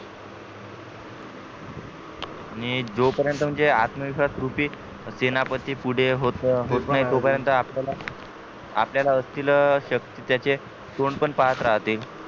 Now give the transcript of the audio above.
आणि जो परेंत म्हणजे आत्मविश्वास रुपी सेनापती पुढे होत नाही तो परेंत आपल्याला आपल्याला असतील शक्य त्याचे तोंड पण पाहत राहते